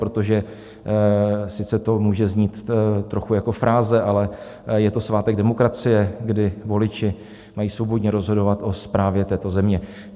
Protože sice to může znít trochu jako fráze, ale je to svátek demokracie, kdy voliči mají svobodně rozhodovat o správě této země.